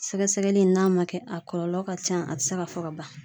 Sɛgɛsɛgɛli in n'a ma kɛ a kɔlɔlɔ ka ca a te se ka fɔ ka ban